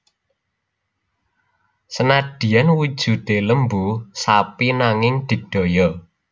Senadyan wujudé lembu sapi nanging digdaya